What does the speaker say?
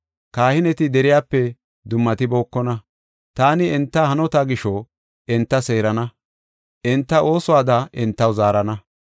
Kahineti deriyape dummatibokona. Taani enta hanota gisho, enta seerana; enta oosuwada entaw zaarana.